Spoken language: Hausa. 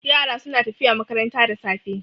Yara suna tafiya makaranta da safe.